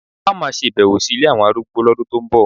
A ó máa ṣèbẹ̀wò sí ilé àwọn arúgbó lọ́dún tó ń bọ̀